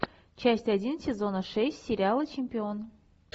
часть один сезона шесть сериала чемпион